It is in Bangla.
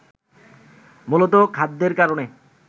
মূলতঃ খাদ্যের কারণে